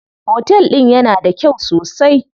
Otel din yana da kyau sosai?